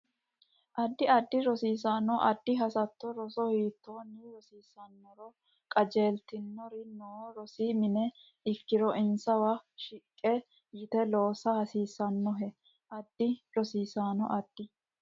Addi rosiisaano addi hasatto roso hiittoonni rosiinsanniro qajeeltinori noo rosi mine ikkiro insawa shiqqi yite loosa hasiissannohe Addi rosiisaano addi.